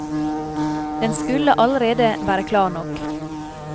Den skulle allerede være klar nok.